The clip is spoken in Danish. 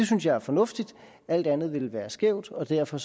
synes jeg er fornuftigt alt andet ville være skævt og derfor